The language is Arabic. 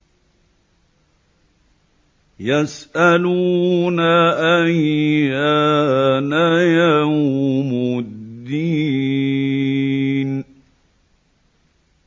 يَسْأَلُونَ أَيَّانَ يَوْمُ الدِّينِ